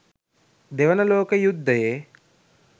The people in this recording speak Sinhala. දෙවන ලෝක යුද්ධයේ